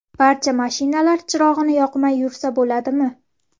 Barcha mashinalar chirog‘ini yoqmay yursa bo‘ladimi?